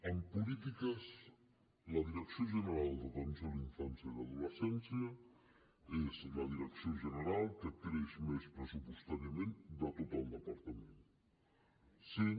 en polítiques la direcció general d’atenció a la infància i l’adolescència és la direcció general que creix més pressupostàriament de tot el departament sent